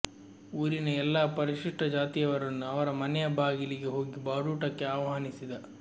ಊರಿನ ಎಲ್ಲ ಪರಿಶಿಷ್ಟ ಜಾತಿಯವರನ್ನು ಅವರ ಮನೆಯ ಬಾಗಿಲಿಗೆ ಹೋಗಿ ಬಾಡೂಟಕ್ಕೆ ಆಹ್ವಾನಿಸಿದ